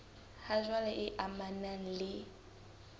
ha jwale e amanang le